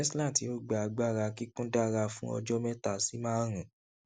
tesla tí ó gba agbára kíkún dára fún ọjọ mẹta sí márùnún